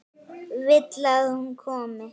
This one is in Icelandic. Vill að hún komi.